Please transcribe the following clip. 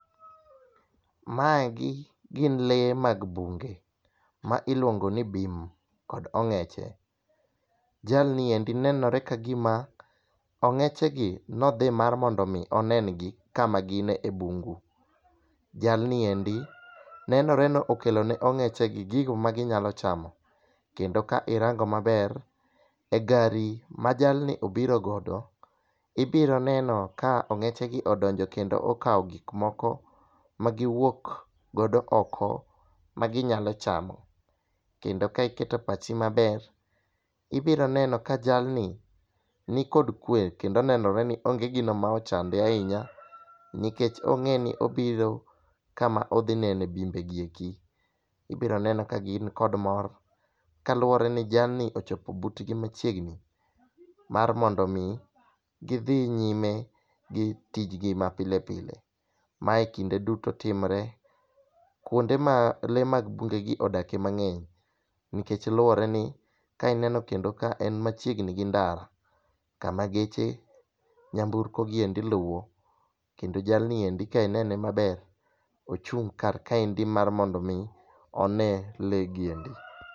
Maegi gin lee mag bunge ma iluongo ni bim kod ong'eche .Jalni endi nenore ka gima ong'eche gi nodhi mar mondo mi onen gi kama gin e bungu. Jalni endi nenore ni okelo ne ong'eche gi gigo ma ginyalo chamo kendo ka irango maber e gari ma jalni obiro godo, ibiro neno ka ong'eche gi odonjo kendo okawo gik moko ma giwuok godo oko ma ginyalo chamo. Kendo ka iketo pachi maber, ibiro neno ka jalni nikod kwe kendo nenore ni onge gino ma ochande ahinya nikech ong'e ni obiro kama odhi nene bimbe gi eki. Ibiro neno ka gin kod mor kaluwore ni jalni ochopo butgi machiegni mar mondo mi gidhi nyime gi tijgi ma pile pile. Mae kinde duto timre kuonde ma lee mag bunge gi odake mang'eny nikech luwore ni ka ineno kendo ka en machiegni gi ndara kuma geche nyamburko gi eki luwo kendo jalni ka inene maber ochung' kar kaendi mar mondo mi onee legi endi.